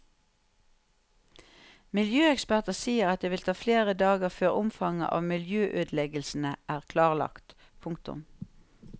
Miljøeksperter sier at det vil ta flere dager før omfanget av miljøødeleggelsene er klarlagt. punktum